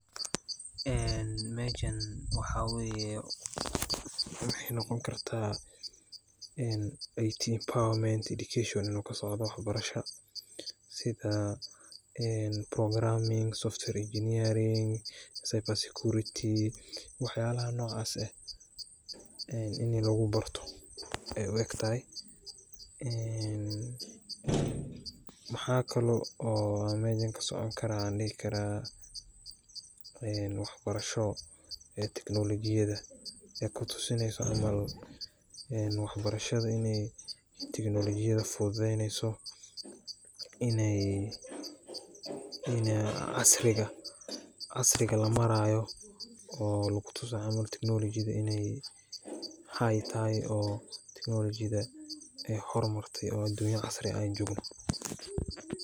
En mejan waxaa weye waxay noqon korta IT empowerment education inu kasocdo wax barasha sida en programming software engineering, cyber security wax yalaha nocaas ee ini lugu barto ayay u egtatahay een maxa kalo oo mejan kasocon karaa an dhihi karaa en wax barasho ee teknolojida ay kutusineyso camal wax barashada inay teknolojida fududeyneyso inay casriga lamaarayo oo lugu tusayo camal inay teknolojida qali tahay oo teknolojida ay hor martay oo adunya casri eh an jogno